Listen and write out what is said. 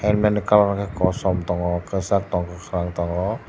helmet ni colour ke kosom tongo kisag tongo kakorang tango.